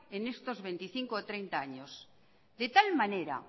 en estos veinticinco o treinta años de tal manera